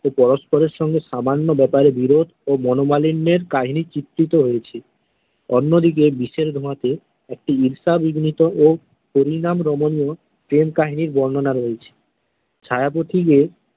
ও পরষ্পরের সঙ্গে সামান্য ব্যাপারে বিরোধ ও মনোমালিন্যের কাহিনী চিত্রিত হয়েছে, অন্য দিকে বিষের ধোঁয়াতে একটি ও পরিমাণ রমনীয় প্রেম কাহিনীর বর্ণনা রয়েছে ছায়া পথিকে।